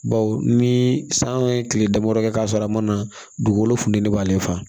Baw ni san ye kile damadɔ kɛ k'a sɔrɔ a ma na dugukolo funu ni b'ale fa